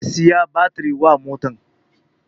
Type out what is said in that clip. Zai saya batiri wa motan